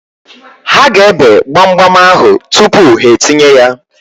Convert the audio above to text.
Ha ga-ebe gbamgbam ahụ tupu ha etinye ya.